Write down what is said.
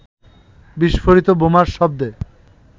বিস্ফোরিত বোমার শব্দে